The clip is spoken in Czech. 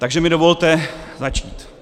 Takže mi dovolte začít.